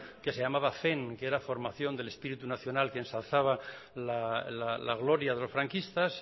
que se llamaba fen que era el formación del espíritu nacional que ensalzaba la gloria de los franquistas